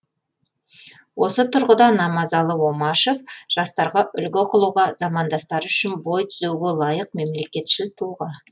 осы тұрғыда намазалы омашев жастарға үлгі қылуға замандастары үшін бой түзеуге лайық мемлекетшіл тұлға